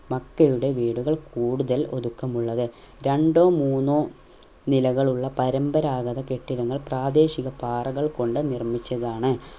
മക്കയുടെ വീടുകൾ കൂടുതൽ ഒരുക്കമുള്ളത് രണ്ടോ മൂന്നോ നിലകളുള്ള പരമ്പരാഗത കെട്ടിടങ്ങൾ പ്രാദേശിക പാറകൾ കൊണ്ട് നിർമിച്ചതാണ്